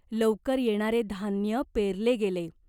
लवकर येणारे धान्य पेरले गेले.